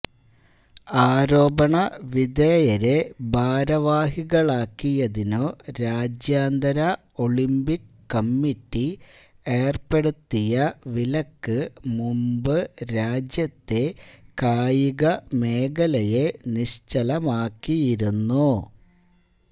ആരോപണ വിധേയരെ ഭാരവാഹികളാക്കിയതിനു രാജ്യാന്തര ഒളിംപിക് കമ്മിറ്റി ഏർപ്പെടുത്തിയ വിലക്ക് മുൻപ് രാജ്യത്തെ കായിക മേഖലയെ നിശ്ചലമാക്കിയിരുന്നു